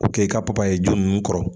K'o kɛ i ka papaye ju ninnu kɔrɔ